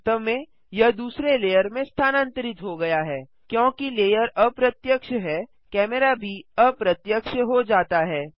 वास्तव में यह दूसरे लेयर में स्थानांतरित हो गया हैक्योंकि लेयर अप्रत्यक्ष है कैमरा भी अप्रत्यक्ष हो जाता है